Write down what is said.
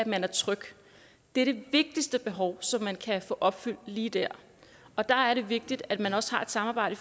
man er tryg det er det vigtigste behov som man kan få opfyldt lige der og der er det vigtigt at man også har et samarbejde